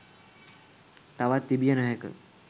තවත් තිබිය නොහැක